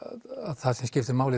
það sem skipti máli í